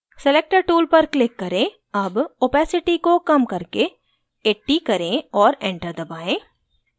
selector tool पर click करें अब opacity को कम करके 80 करें और enter दबाएं